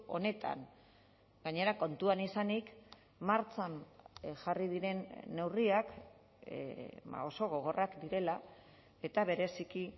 honetan gainera kontuan izanik martxan jarri diren neurriak oso gogorrak direla eta bereziki